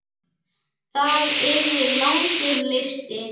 Það yrði langur listi.